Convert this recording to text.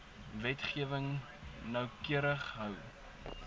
wetgewing noukeurig hou